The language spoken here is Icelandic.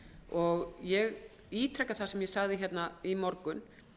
og ég ítreka það sem ég sagði í morgun